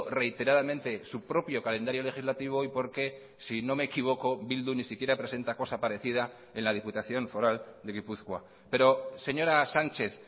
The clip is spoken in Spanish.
reiteradamente su propio calendario legislativo y porque si no me equivoco bildu ni siquiera presenta cosa parecida en la diputación foral de gipuzkoa pero señora sánchez